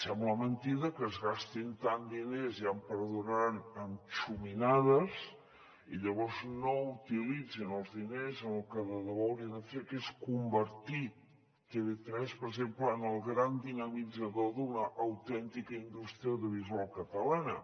sembla mentida que es gastin tants diners ja em perdonaran en xuminades i llavors no utilitzin els diners en el que de debò haurien de fer que és convertir tv3 per exemple en el gran dinamitzador d’una autèntica indústria audiovisual catalana